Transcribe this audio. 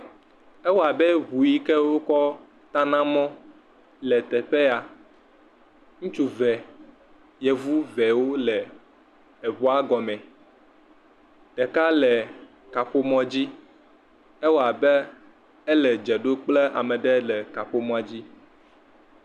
Ewɔ abe ŋu yi ke wokɔ tana mɔ le teƒe ya, ŋutsu ve, yevu vewo le eŋua gɔmɔ, ɖeka le kaƒomɔ dzi ewɔ abe ele dze ɖom kple ame aɖe le kaƒomɔ dzi.